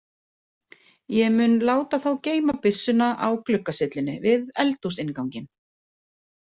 Ég mun láta þá geyma byssuna á gluggasyllunni við eldhúsinnganginn